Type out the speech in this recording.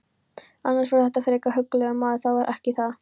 Annars var þetta frekar huggulegur maður, það var ekki það.